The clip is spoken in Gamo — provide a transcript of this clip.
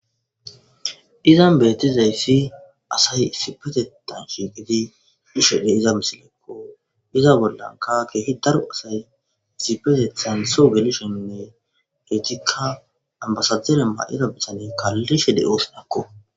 Izan bettizayssi asati issipetththan shiqqidi bishe diiza missilekko izza bollaka kehi daaro asay issipeteththan soho gelishene ettika ambasadera mayida biitaney kalishe de'ossonako